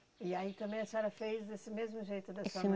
E aí também a senhora fez desse mesmo jeito da sua mãe